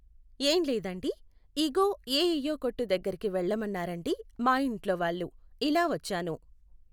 ఏం లేదండీ, ఇగో ఎ ఎయ్యో కొట్టు దగ్గరకి వెళ్ళమన్నారండి మా ఇంట్లోవాళ్ళు, ఇలా వచ్చాను.